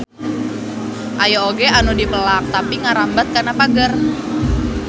Aya oge anu dipelak tapi ngarambat kana pager.